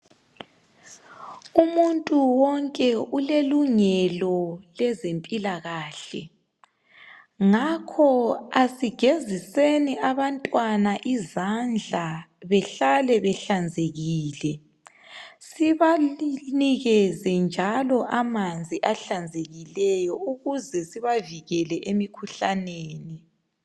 Umuntu wonke ulelungelo lezempilakahle. Ngakho, asigeziseni abantwana izandla behlale behlanzekile. Sibanikeze njalo amanzi ahlanzekileyo ukuze sibavikele emikhuhlaneni.